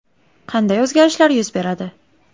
Qanday o‘zgarishlar yuz beradi?